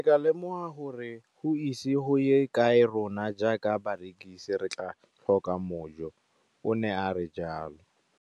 Ke ne ka lemoga gore go ise go ye kae rona jaaka barekise re tla tlhoka mojo, o ne a re jalo.